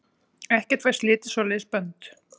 Ekkert fær slitið svoleiðis bönd.